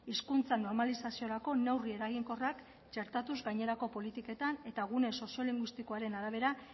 hizkuntza normalizaziorako neurri eraginkorrak txertatuz gainerako politiketan eta gune soziolinguistikoaren arabera